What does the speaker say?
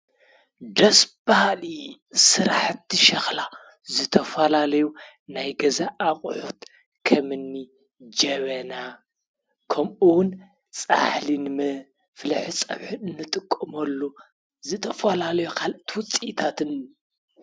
ደስ ባሃሊ ሰራሓቲ ሸኽላ ዝተፋላለዩ ናይ ገዛ ኣቁሒት ከምኒ ጀበና፣ ከምኡዉኑ ፃሕሊ መፈሊሒ ፀበሒ አንጥቀመሉ ዝተፋላለዩ ካሎኦት ዉፅኢታትን